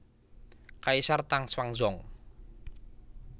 Kaisar Tang Xuanzong